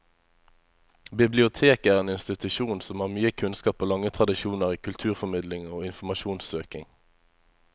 Biblioteket er en institusjon som har mye kunnskap og lange tradisjoner i kulturformidling og informasjonssøking.